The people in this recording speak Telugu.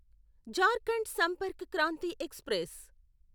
జార్ఖండ్ సంపర్క్ క్రాంతి ఎక్స్ప్రెస్